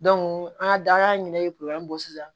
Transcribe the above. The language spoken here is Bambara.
an ka daga ɲini bɔ sisan